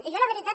i jo la veritat